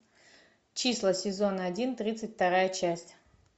числа сезон один тридцать вторая часть